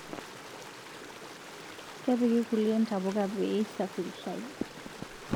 Kepiki kulie ntapuka peisafirishai